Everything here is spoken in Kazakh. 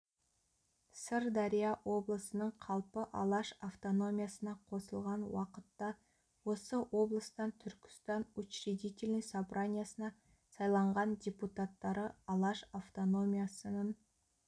сырдария облысының қалпы алаш автономиясына қосылған уақытта осы облыстан түркістан учредительный собраниясына сайланған депутаттары алаш автономиясынын